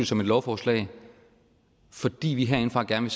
som et lovforslag fordi vi herindefra gerne